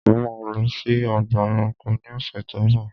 Mo ma lọ sí ọgbà ẹranko ni ọ̀sẹ̀ tó ń bọ̀.